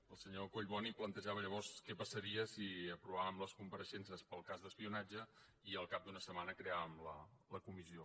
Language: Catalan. el senyor collboni plantejava llavors què passaria si aprovàvem les compareixences pel cas d’espionatge i al cap d’una setmana creàvem la comissió